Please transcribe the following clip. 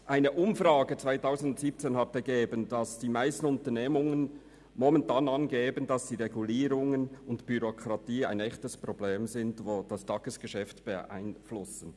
Eine Umfrage 2017 hat ergeben, dass Regulierungen und Bürokratie für die meisten Unternehmen echte Probleme darstellen, die ihr Tagesgeschäft beeinflussen.